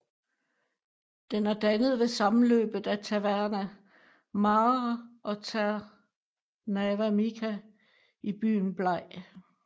Den er dannet ved sammenløbet af Târnava Mare og Târnava Mică i byen Blaj